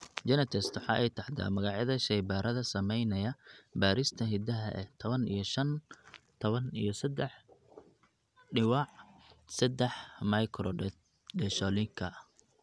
GeneTests waxa ay taxdaa magacyada shaybaadhada samaynaya baadhista hidaha ee tawan iyo shaan q tawan iyo sedaax diwiic sedaax microdeletionka.